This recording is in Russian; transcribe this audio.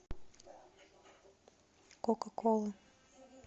кока кола